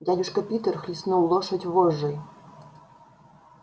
дядюшка питер хлестнул лошадь вожжой